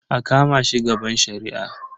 A kama shi gaban shari'a.